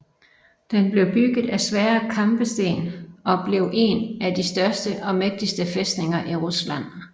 Den blev bygget af svære kampesten og blev en af de største og mægtigste fæstninger i Rusland